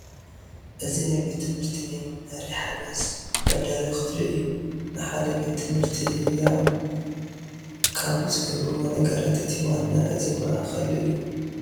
እዚ ናይ ቤት ትምህርቲ ናይ መምሓሪ ሓገዝ መዳለዊ ክፍሊ እዩ፡፡ ንሓደ ቤት ትምህርቲ ህያው ካብ ዝገብርዎ ነገራት እቲ ዋና እዚ ማእከል እዩ፡፡